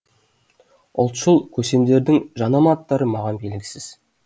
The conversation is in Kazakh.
ұлтшыл көсемдердің жанама аттары маған белгісіз